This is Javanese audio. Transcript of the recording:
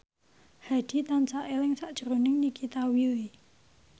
Hadi tansah eling sakjroning Nikita Willy